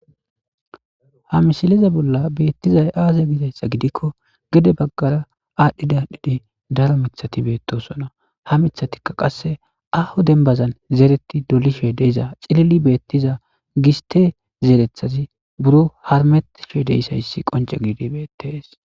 ha misileze bolla beettizay aaza gidayssa gidikko gede baggara aadhdhida dhidi daro mithati beettosona ha mithatikka qasse aho dembazan zeereti dolishe deiza cilili beettiza giste zeerethazi buro harmetishe deysayssi qonce giidi beettees